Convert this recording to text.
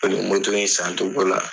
in san togo la